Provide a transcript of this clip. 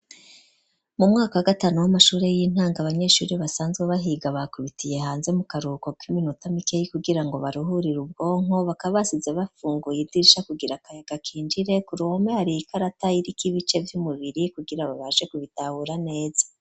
Mu mwaka gatanu, w'amashuri y'intango, abanyeshuri basanzwe bahiga bakubitiye hanze mu karuhuko k'iminota mikeyi kugira ngo, baruhurire ubwonko, bakaba basize bafunguye idirisha kugira kayaga ka hinjire, ku ruhome hari ikarata irik' ibice vy'umubiri, kugira babanze kubitahura neza.